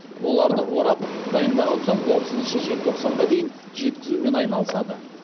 оларды орап дайындаған соң отызыншы желтоқсанға дейін жеткізумен айналысады